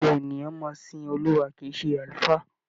Ìjọ ènìyàn máa sin Olúwa kìí ṣe àlùfáà.